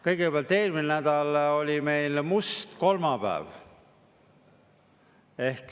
Kõigepealt, eelmine nädal oli meil must kolmapäev.